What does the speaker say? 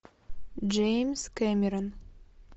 джеймс кэмерон